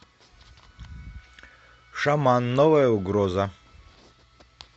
шаман новая угроза